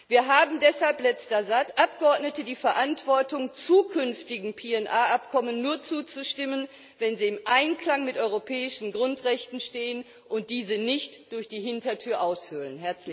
Wir haben deshalb als Abgeordnete die Verantwortung, zukünftigen PNR Abkommen nur zuzustimmen, wenn sie im Einklang mit europäischen Grundrechten stehen und diese nicht durch die Hintertür aushöhlen.